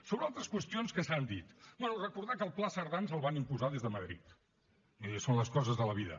sobre altres qüestions que s’han dit bé recordar que el pla cerdà en el van imposar des de madrid miri són les coses de la vida